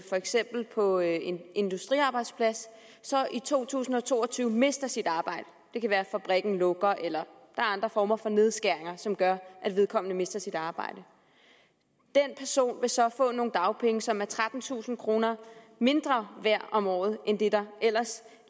for eksempel på en industriarbejdsplads i to tusind og to og tyve mister sit arbejde det kan være at fabrikken lukker eller at er andre former for nedskæringer som gør at vedkommende mister sit arbejde den person vil så få nogle dagpenge som er trettentusind kroner mindre værd om året end det der ellers